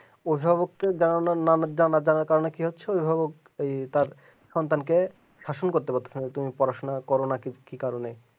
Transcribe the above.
অভিভাবককে জানানোর নামে কি হচ্ছে অভিভাবক ওই তার সন্ধানকে শাসন করতে পারতেছে না তো পড়াশোনা করে না। কি কারনে